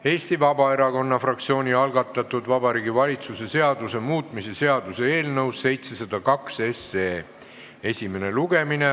Eesti Vabaerakonna fraktsiooni algatatud Vabariigi Valitsuse seaduse muutmise seaduse eelnõu esimene lugemine.